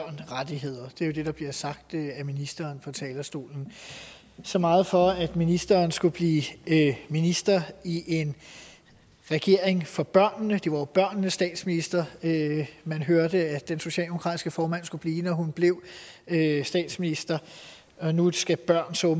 rettigheder det er jo det der bliver sagt af ministeren fra talerstolen så meget for at ministeren skulle blive minister i en regering for børnene det var jo børnenes statsminister man hørte at den socialdemokratiske formand skulle blive når hun blev statsminister og nu skal børn så